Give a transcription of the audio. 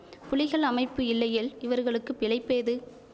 புலிகள் அமைப்பு இல்லையேல் இவர்களுக்கு பிழைப்பேது